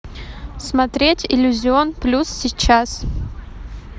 смотреть иллюзион плюс сейчас